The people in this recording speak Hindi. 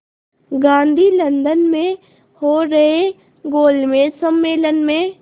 गांधी लंदन में हो रहे गोलमेज़ सम्मेलन में